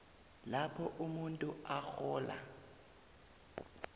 lapho umuntu arhola